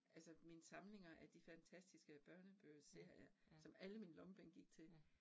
Altså mine samlinger af de fantastiske børnebogsserier, som alle mine lommepenge gik til